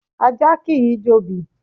Ajá kìí jobì.